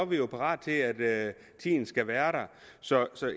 vi parate til at tiden skal være der så